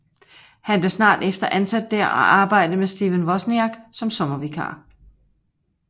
Han blev snart efter ansat der og arbejdede med Stephen Wozniak som sommervikar